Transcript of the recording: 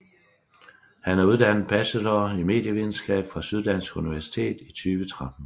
Han er uddannet bachelor i medievidenskab fra Syddansk Universitet i 2013